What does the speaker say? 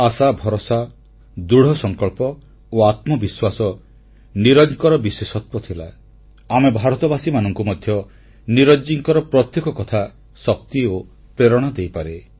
ଆଶା ଭରସା ଦୃଢ଼ସଂକଳ୍ପ ଓ ଆତ୍ମବିଶ୍ୱାସ ନୀରଜଙ୍କର ବିଶେଷତ୍ୱ ଥିଲା ଆମେ ଭାରତବାସୀମାନଙ୍କୁ ମଧ୍ୟ ନୀରଜଜୀଙ୍କ ପ୍ରତ୍ୟେକ କଥା ଶାନ୍ତି ଓ ପ୍ରେରଣା ଦେଇପାରେ